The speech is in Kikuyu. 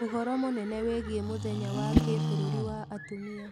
uhoro munene wigie mũthenya wa kibururi wa atumia